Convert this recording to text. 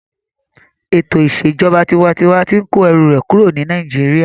Ètò ìṣèjọba tinwatinwa tí n kó ẹrù rẹ̀ kúrò ní Nàìjíríyà